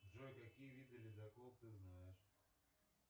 джой какие виды ледоков ты знаешь